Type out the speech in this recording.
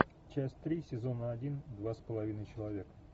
часть три сезона один два с половиной человека